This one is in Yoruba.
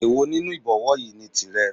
Èwo nínú Ìbọ̀wọ́ yìí ni tìrẹ